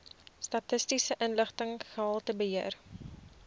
statistiese inligting gehaltebeheer